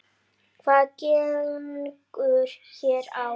Hvað gengur hér á?